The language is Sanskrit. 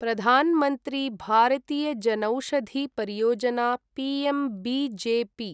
प्रधान् मन्त्री भारतीय जनौषधि परियोजना' पीएमबीजेपी